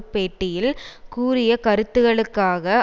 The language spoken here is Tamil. பேட்டியில் கூறிய கருத்துக்களுக்காக